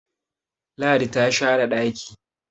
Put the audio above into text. Ladi ta share daki